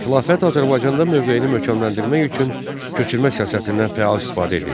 Xilafət Azərbaycanda mövqeyini möhkəmləndirmək üçün köçürmə siyasətindən fəal istifadə edirdi.